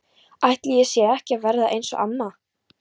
Ætli ég sé ekki að verða eins og amma?